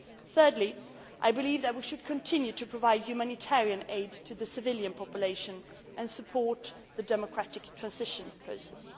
respect. Thirdly, we should continue to provide humanitarian aid to the civilian population and support the democratic transition